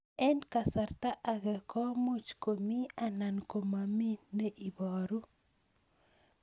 Eng' kasarta ag'e ko much ko mii anan komamii ne ibaru